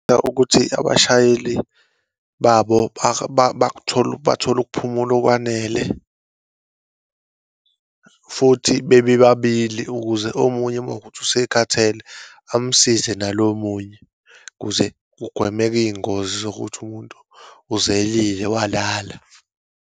Ukuthi abashayeli babo bakuthole, bathole ukuphumula okwanele, futhi bebe babili ukuze omunye uma kuwukuthi usekhathele, amsize nalo omunye, kuze kugwemeke iyingozi zokuthi umuntu uzelile, walala.